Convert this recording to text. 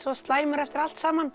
slæmur eftir allt saman